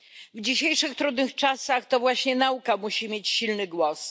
W dzisiejszych trudnych czasach to właśnie nauka musi mieć silny głos.